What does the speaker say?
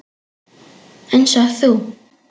Einsog þú.